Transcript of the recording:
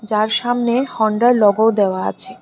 তার সামনে হন্ডার লোগোও দেওয়া আছে।